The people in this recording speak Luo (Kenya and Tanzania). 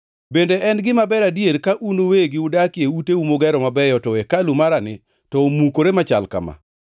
“Bende en gima ber adier ka un uwegi udakie uteu mugero mabeyo, to hekalu marani to omukore machal kama?”